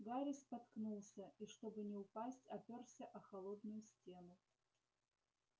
гарри споткнулся и чтобы не упасть оперся о холодную стену